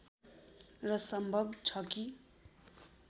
र सम्भव छ कि